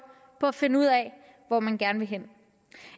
på at finde ud af hvor man gerne vil hen